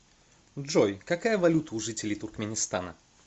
джой какая валюта у жителей туркменистана